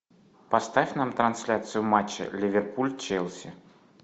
поставь нам трансляцию матча ливерпуль челси